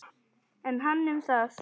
En hann um það.